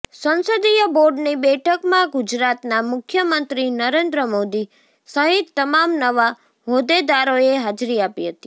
સંસદીય બોર્ડની બેઠકમાં ગુજરાતના મુખ્યમંત્રી નરેન્દ્ર મોદી સહિત તમામ નવા હોદ્દેદારોએ હાજરી આપી હતી